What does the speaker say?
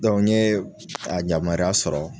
n ye a yamaruya sɔrɔ